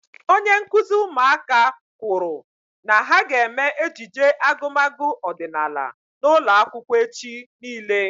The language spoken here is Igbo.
Onye nkụzi ụmụaka kwụrụ na ha ga eme ejije agumagu ọdịnala n'ụlọ akwụkwọ echi niile